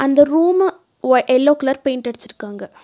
இந்த ரூம்ம வை எல்லோ கலர் பெயிண்ட் அடுச்சுருக்காங்க.